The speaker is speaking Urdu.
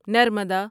نرمدا